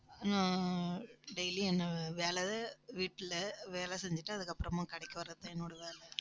ஆஹ் daily என்னை வேலை வீட்டுல வேலை செஞ்சுட்டு அதுக்கப்புறமா கடைக்கு வர்றதுதான் என்னோட வேலை